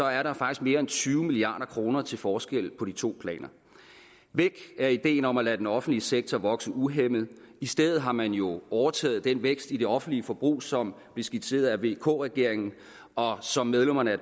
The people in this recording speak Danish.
er der faktisk mere end tyve milliard kroner til forskel på de to planer væk er ideen om at lade den offentlige sektor vokse uhæmmet og i stedet har man jo overtaget den vækst i det offentlige forbrug som blev skitseret af vk regeringen og som medlemmerne af